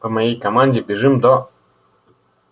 по моей команде бежим до